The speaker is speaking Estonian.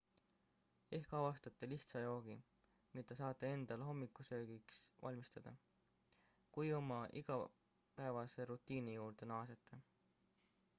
ehk avastate lihtsa joogi mida saate endale hommikusöögiks valmistada kui oma igapäevase rutiini juurde naasete